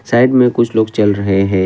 Side में कुछ लोग चल रहे हैं।